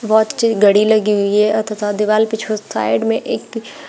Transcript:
घड़ी लगी हुई है तथा दिवाल पे छो साइड में एक--